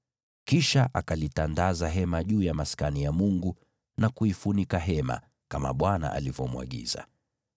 Kisha akalitandaza hema juu ya Maskani ya Mungu na kuifunika hema, kama Bwana alivyomwagiza.